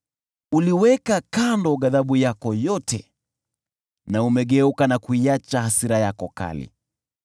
Uliweka kando ghadhabu yako yote na umegeuka na kuiacha hasira yako kali.